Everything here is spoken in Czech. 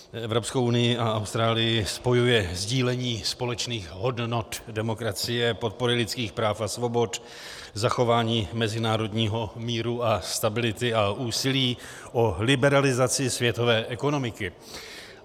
Evropskou unii a Austrálii spojuje sdílení společných hodnot demokracie, podpory lidských práv a svobod, zachování mezinárodního míru a stability a úsilí o liberalizaci světové ekonomiky.